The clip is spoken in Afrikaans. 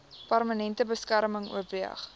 permanente beskerming oorweeg